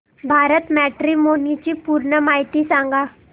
Bharat matrimony ची पूर्ण माहिती सांगा